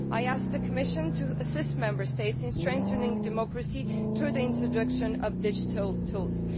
I ask the Commission to assist Member States in strengthening democracy through the introduction of digital tools.